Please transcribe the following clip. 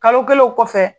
Kalo kelen o kɔfɛ